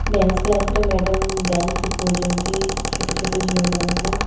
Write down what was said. Dance class ରେ madam dance ଶିଖଉଚନ୍ତି ଛୋଟ ଛୋଟ ଝିଅ ମାନଙ୍କୁ।